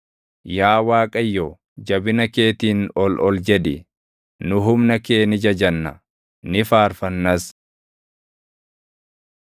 Yaa Waaqayyo, jabina keetiin ol ol jedhi; nu humna kee ni jajanna; ni faarfannas.